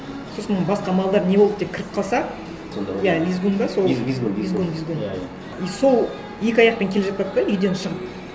сосын басқа малдар не болды деп кіріп қалса иә визгун ба сол визгун визгун визгун иә иә и сол екі аяқпен келе жатады да үйден шығып